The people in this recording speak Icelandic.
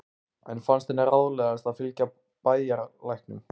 Enn fannst henni ráðlegast að fylgja bæjarlæknum.